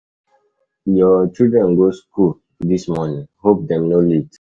Your children go school this morning? Hope dem no late?